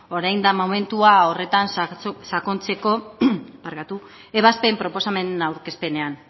orain da momentua horretan sakontzeko ebazpen proposamen aurkezpenean